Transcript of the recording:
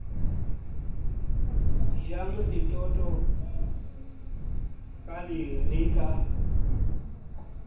jang setoto ka lere ka